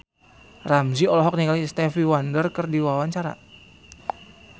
Ramzy olohok ningali Stevie Wonder keur diwawancara